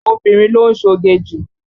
Obìnrin ló ń ṣoge jù.